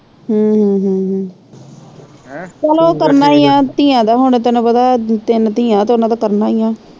ਹਮ ਹਮ ਹਮ ਹਮ ਚਲੋ ਉਹ ਕਰਨਾ ਈ ਆ ਧੀਆਂ ਦਾ ਹੁਣ ਤੈਨੂੰ ਪਤਾ ਤਿੰਨ ਧੀਆਂ ਤੇ ਉਹਨਾਂ ਦਾ ਕਰਨਾ ਈਆ।